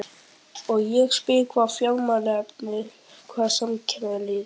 Og ég spyr hvar er Fjármálaeftirlitið, hvar er Samkeppniseftirlitið?